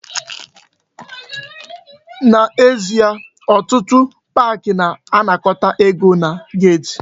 N'ezie, otụtụ park na-anakọta ego na gate.